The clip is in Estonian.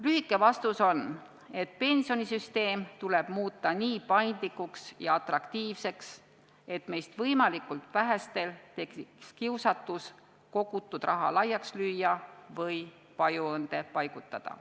Lühike vastus on, et pensionisüsteem tuleb muuta nii paindlikuks ja atraktiivseks, et meist võimalikult vähestel tekiks kiusatus kogutud raha laiaks lüüa või pajuõõnde paigutada.